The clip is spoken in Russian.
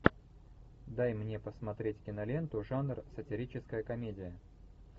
дай мне посмотреть киноленту жанр сатирическая комедия